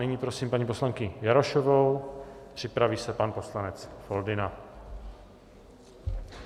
Nyní prosím paní poslankyni Jarošovou, připraví se pan poslanec Foldyna.